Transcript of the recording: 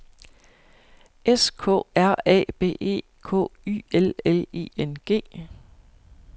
S K R A B E K Y L L I N G